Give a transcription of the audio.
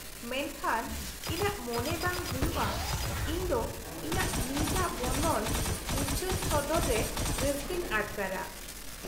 -ᱢᱮᱱᱠᱷᱟᱱ ᱤᱧᱟᱹᱜ ᱢᱚᱱᱮ ᱵᱟᱝ ᱦᱩᱭᱩᱜᱼᱟ ᱤᱧᱫᱚ ᱤᱧᱟᱹᱜ ᱱᱤᱡᱟᱜ ᱵᱚᱨᱱᱚᱱ ᱩᱪᱷᱟᱹᱱ ᱥᱚᱫᱚᱨᱨᱮ ᱨᱟᱹᱥᱠᱟᱹᱧ ᱟᱴᱠᱟᱨᱼᱟ ᱾